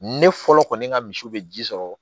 Ne fɔlɔ kɔni ka misiw bɛ ji sɔrɔ